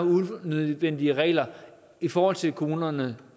unødvendige regler i forhold til kommunerne